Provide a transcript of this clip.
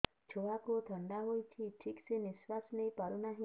ଛୁଆକୁ ଥଣ୍ଡା ହେଇଛି ଠିକ ସେ ନିଶ୍ୱାସ ନେଇ ପାରୁ ନାହିଁ